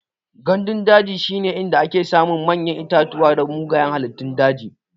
Gandun daji shine inda ake samun manyan itatuwa da mugayan halittun daji.